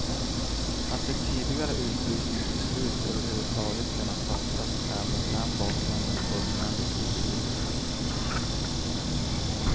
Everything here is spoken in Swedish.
Att ett tidigare utvisningsbeslut över huvud taget kunnat fattas är mot den bakgrunden fullständigt obegripligt.